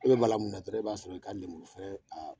E bɛ bala mun na dɔrɔn e b'a sɔrɔ i k'a lenburufɛrɛn a